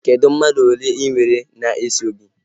Kedụ mmadụ ole inwere na-eso gị?